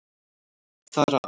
Þar af.